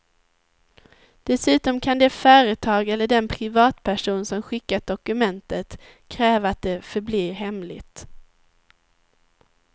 Dessutom kan det företag eller den privatperson som skickat dokumentet kräva att det förblir hemligt.